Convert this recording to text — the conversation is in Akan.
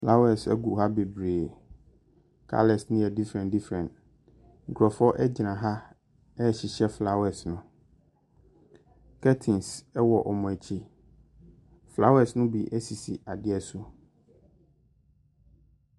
Flawas ɛgu ha beberee. Kalas no yɛ differɛn differɛn. Nkurofoɔ ɛgyina ha ɛrehyehyɛ flawas no. Kɛtins ɛwɔ wɔn akyi. Flawas no bi ɛsisi adeɛ bi so.